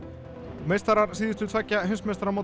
meistarar síðustu tveggja